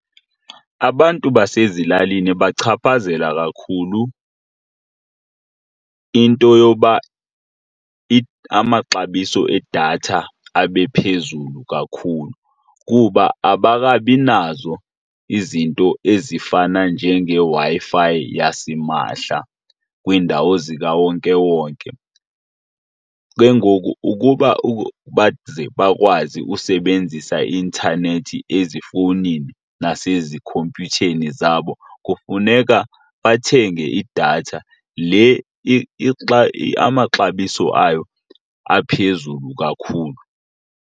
Abantu basezilalini ibachaphazela kakhulu into yoba amaxabiso edatha abe phezulu kakhulu kuba abakabi nazo izinto ezifana njengeWi-Fi yasimahla kwiindawo zikawonkewonke. Ke ngoku ukuba baze bakwazi usebenzisa i-intanethi ezifowunini nasezikhompyutheni zabo kufuneka bathenge idatha le amaxabiso ayo aphezulu kakhulu.